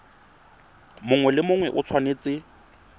mongwe le mongwe o tshwanetse